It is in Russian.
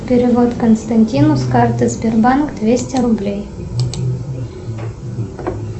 перевод константину с карты сбербанк двести рублей